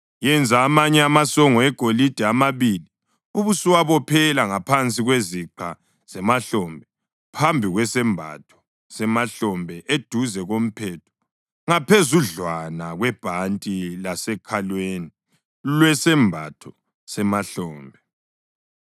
Yenza amanye amasongo egolide amabili ubusuwabophela ngaphansi kweziqa zemahlombe phambi kwesembatho semahlombe, eduze komphetho ngaphezudlwana kwebhanti lasekhalweni lwesembatho semahlombe.